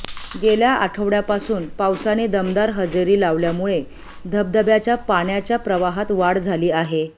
गेल्या आठवड्यापासून पावसाने दमदार हजेरी लावल्यामुळे धबधब्याच्या पाण्याच्या प्रवाहात वाढ झाली आहे